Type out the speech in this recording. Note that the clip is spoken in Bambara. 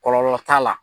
Kɔlɔlɔ t'a la